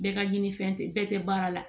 Bɛɛ ka ɲini fɛn tɛ bɛɛ tɛ baara la